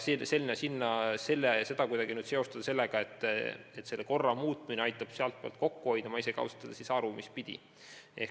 Seda kuidagi seostada mõttega, et selle korra muutmine aitab selle tegevuse pealt kokku hoida – ma ausalt öeldes ei saa aru, mispidi.